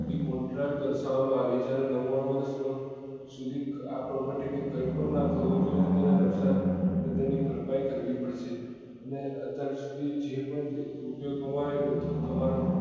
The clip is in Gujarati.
થી contract દર્શાવવા માં આવે છે અને નવ્વાણું વર્ષ શુધી આ પ્રગતિ ને કઈ પણ નાં થવું જોઈએ અને તેનું નુકસાન અને ભરપાઈ કરવી પડશે અને અત્યાર શુધી જે પણ રૂપિયો કમાય એ બધું તમારે